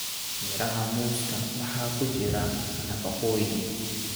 Miraha muuska waxaa ku jira nafaqooyin.